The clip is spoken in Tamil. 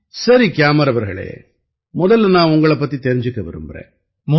சரி கியாமர் அவர்களே முதல்ல நான் உங்களைப் பத்தி தெரிஞ்சுக்க விரும்பறேன்